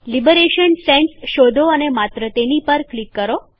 liberation Sans શોધો અને માત્ર તેની પર ક્લિક કરો